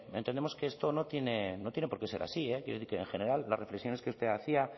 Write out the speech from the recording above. entendemos que esto no tiene porqué ser así quiero decir que en general las reflexiones que usted hacía